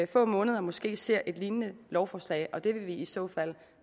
få måneder måske ser et lignende lovforslag og det vil vi i så fald